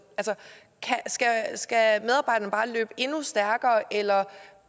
skal medarbejderne bare løbe endnu stærkere eller